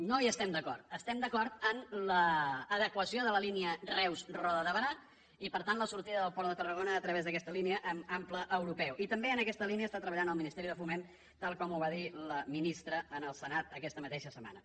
no hi estem d’acord estem d’acord amb l’adequació de la línia reus roda de barà i per tant la sortida del port de tarragona a través d’aquesta línia amb ample europeu i també amb aquesta línia està treballant el ministeri de foment tal com ho va dir la ministra al senat aquesta mateixa setmana